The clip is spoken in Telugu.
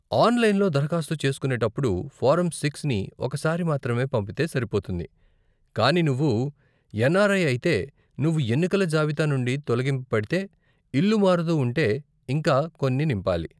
ఆన్లైన్లో దారఖాస్తు చేసుకునేటప్పుడు, ఫారం సిక్స్ ని ఒక సారి మాత్రమే పంపితే సరిపోతుంది, కానీ నువ్వు ఎన్ఆర్ఐ అయితే, నువ్వు ఎన్నికల జాబితా నుండి తొలగింపబడితే, ఇల్లు మారుతూ ఉంటే, ఇంకా కొన్ని నింపాలి.